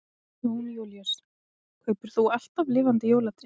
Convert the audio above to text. Jón Júlíus: Kaupir þú alltaf lifandi jólatré?